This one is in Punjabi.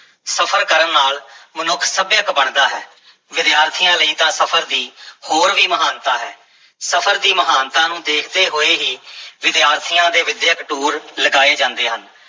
ਸਫ਼ਰ ਕਰਨ ਨਾਲ ਮਨੁੱਖ ਸੱਭਿਅਕ ਬਣਦਾ ਹੈ, ਵਿਦਿਆਰਥੀਆਂ ਲਈ ਤਾਂ ਸਫ਼ਰ ਦੀ ਹੋਰ ਵੀ ਮਹਾਨਤਾ ਹੈ, ਸਫਰ ਦੀ ਮਹਾਨਤਾ ਨੂੰ ਦੇਖਦੇ ਹੋਏ ਹੀ ਵਿਦਿਆਰਥੀਆਂ ਦੇ ਵਿੱਦਿਅਕ ਟੂਰ ਲਗਾਏ ਜਾਂਦੇ ਹਨ।